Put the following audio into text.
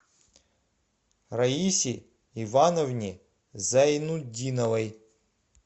раисе ивановне зайнутдиновой